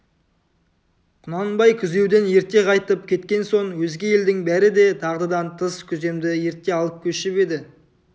құнанбай күзеуден ерте қайтып кеткен соң өзге елдің бәрі де дағдыдан тыс күземді ерте алып көшіп еді